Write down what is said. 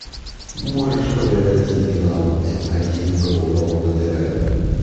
можешь показать телеканал м один глобал на тв